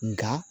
Nka